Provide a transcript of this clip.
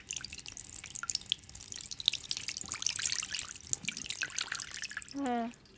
হেঁ